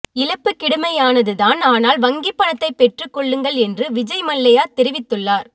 இழப்பு கிடுமையானதுதான் ஆனால் வ்ங்கி பணத்தை பெற்றுக்கொள்ளுங்கள் என்று விஜய் மல்லையா தெரிவித்துள்ளார்